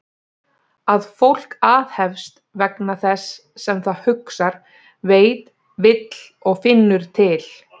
Að fólk aðhefst vegna þess sem það hugsar, veit, vill og finnur til?